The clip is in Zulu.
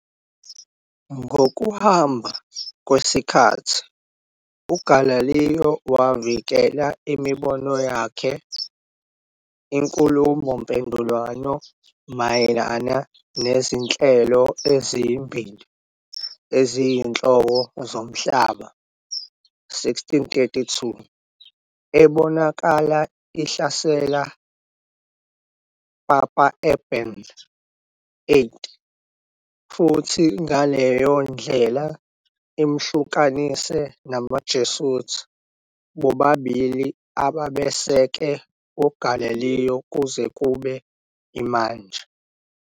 Ngokuhamba kwesikhathi Galileo wavikela imibono yakhe "Inkhulumomphendvulwano Mayelana NeziNhlelo Ezibili Eziyinhloko Zomhlaba", 1632, ebonakala ihlasela Papa Urban VIII futhi ngaleyo ndlela imhlukanise namaJesuit, bobabili ababeseke Galileo kuze kube manje.